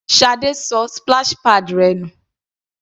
Sade ṣọ splash pads rẹ̀ nù.